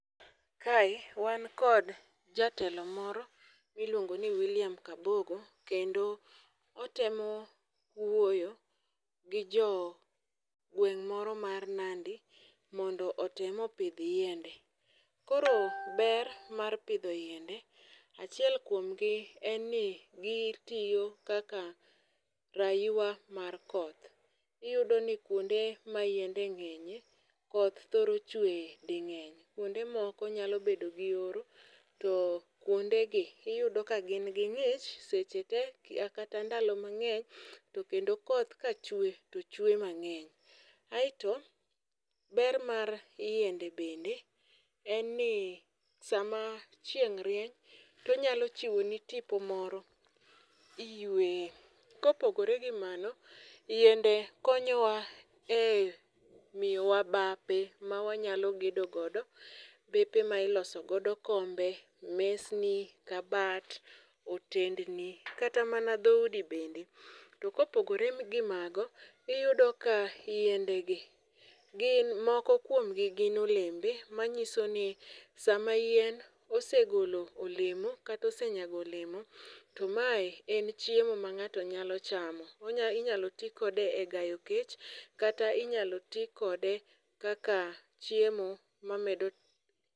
Kae, wan kod Jatelo moro miluongo ni William Kabogo, kendo otemo wuoyo gi jo gweng' moro mar nandi, mondo otemo pidh yiende. Koro ber mar pidho yiende, achiel kuomgi en ni gitiyo kaka rayua mar koth. Iyudo ni kuonde ma yiende ng'enye, koth thoro chwe dhi ng'eny. Kuonde moko nyalo bedo gi oro to kuondegi, iyudo ka gin ging'ich seche te, kata ndalo mang'eny, to kendo koth kachue to chwe mang'eny. Aeto, ber mar yiende bende, en ni sama chieng' rieny to onyalo chiwo ni tipo moro, iyweye. Kopogre gi mano, yiende konyowa e, miyowa bape ma wanyalo gedo godo, bepe mailoso godo kombe, mesni, kabat, otendni, kata mana dhoudi bende. To kopogre gimago, iyudo ka yiende gi gin moko kuomgi gin olembe, manyiso ni sama yien osegolo olemo kata osenyago olemo, to ma e, en chiemo ma ng'ato nyalo chamo. Onya inyalo ti kode e gayo kech, kata inyalo ti kode kaka chiemo mamedo.